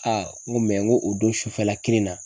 Aa n ko n ko o don sufɛla kelen na